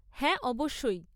হ্যাঁ, অবশ্যই।